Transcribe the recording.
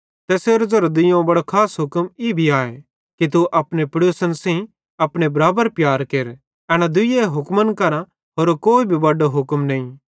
तैसेरो ज़ेरो दुइयोवं बड़ो खास हुक्म ई भी आए कि तू अपने पेड़ोसन सेइं अपने बराबर प्यार केर एन दूई हुक्मन केरां होरो कोई भी बड्डो हुक्म नईं